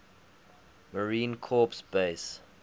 marine corps base